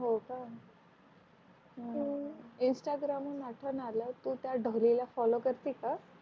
हो क अं इंस्टाग्राम उन आठवण आलायत्या ढोले ला फोल्लो करते का हो का?